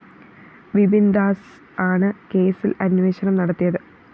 വിപിന്‍ദാസ് ആണ് കേസില്‍ അന്വേഷണം നടത്തിയത്